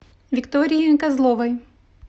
виктории козловой